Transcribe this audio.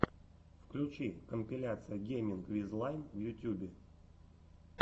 включи компиляция гейминг виз лайн в ютюбе